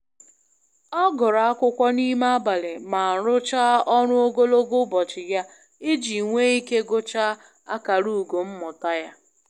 Ọ gụrụ akwụkwọ n'ime abalị ma ọ rucha ọru ogologo ubochi ya iji nwe ike gụchaa akara ugo mmụta ya.